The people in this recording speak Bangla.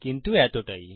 কিন্তু এতটাই